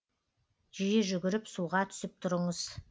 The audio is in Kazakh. жиі жүгіріп суға түсіп тұрыңыз